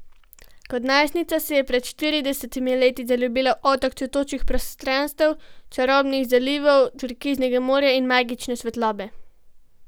Kot najstnica se je pred štiridesetimi leti zaljubila v otok cvetočih prostranstev, čarobnih zalivov, turkiznega morja in magične svetlobe.